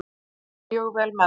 Þau fara mjög vel með mig.